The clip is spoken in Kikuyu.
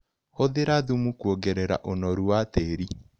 Hũthĩra thumu kuongerera ũnoru wa tĩrĩ.